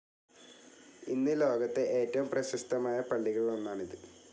ഇന്ന് ലോകത്തെ ഏറ്റവും പ്രശസ്തമായ പള്ളികളിൽ ഒന്നാണിത്.